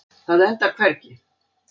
Það endar hvergi.